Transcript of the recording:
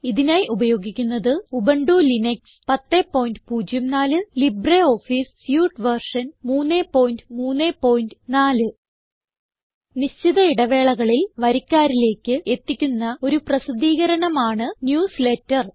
ഇതിനായി ഉപയോഗിക്കുന്നത് Ubuntu Linux 1004 LibreOffice suite version 334 നിശ്ചിത ഇടവേളകളിൽ വരിക്കാരിലേക്ക് എത്തിക്കുന്ന ഒരു പ്രസിദ്ധീകരണം ആണ് ന്യൂസ്ലേറ്റർ